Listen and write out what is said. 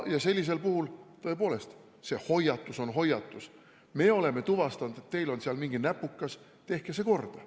Sellisel puhul on tõepoolest vajalik hoiatus: me oleme tuvastanud, et teil on seal mingi näpukas, tehke see korda.